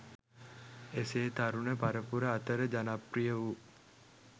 එසේ තරුණ පරපුර අතර ජනප්‍රිය වූ